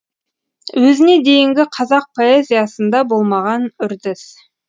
өзіне дейінгі қазақ поэзиясында болмаған үрдіс